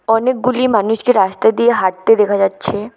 অনেকগুলি মানুষকে রাস্তা দিয়ে হাঁটতে দেখা যাচ্ছে।